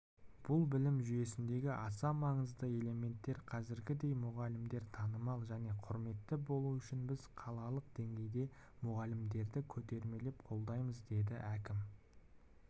бұл білім жүйесіндегі аса маңызды элемент қазіргідей мұғалімдер танымал және құрметті болуы үшін біз қалалық деңгейде мұғалімдерді көтермелеп қолдаймыз деді әкім